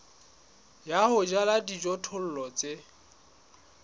ya ho jala dijothollo tse